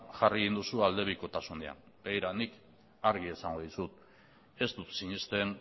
jarri egin duzu aldebikotasunean begira nik argi esango dizut ez dut sinesten